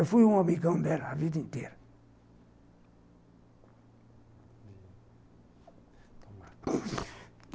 Eu fui um amigão dela a vida inteira.